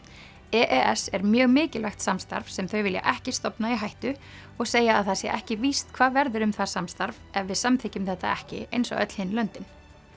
e e s er mjög mikilvægt samstarf sem þau vilja ekki stofna í hættu og segja að það sé ekki víst hvað verður um það samstarf ef við samþykkjum þetta ekki eins og öll hin löndin